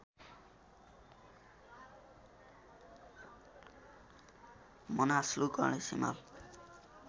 Manaslu Ganesh Himal